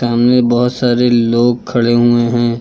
सामने बहोत सारे लोग खड़े हुए हैं।